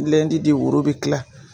de woro be tila